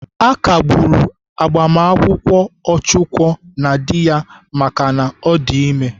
À kagburu gbamakwụkwọ Ọchụko na dị ya maka na ọ dị ime.